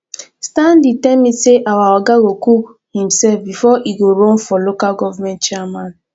stanley tell me say our oga go cook himself before e go run for local government chairman